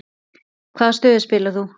Hvaða stöðu spilaðir þú?